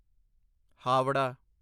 Howrah